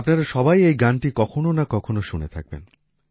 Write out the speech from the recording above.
আপনারা সবাই এই গানটি কখনো না কখনো শুনে থাকবেন